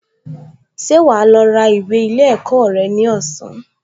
Ṣé wà á lọ ra ìwé ilé ẹ̀kọ́ rẹ ní ọ̀sán?